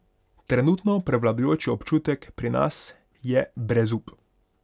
Trenutno prevladujoči občutek pri nas je brezup.